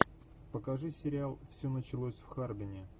покажи сериал все началось в харбине